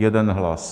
Jeden hlas.